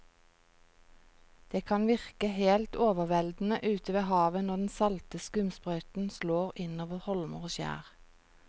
Det kan virke helt overveldende ute ved havet når den salte skumsprøyten slår innover holmer og skjær.